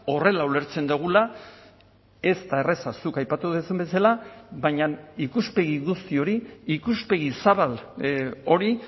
horrela ulertzen dugula ez da erraza zuk aipatu duzun bezala baina ikuspegi guzti hori ikuspegi zabal hori